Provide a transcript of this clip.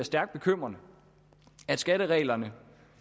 stærkt bekymrende at skattereglerne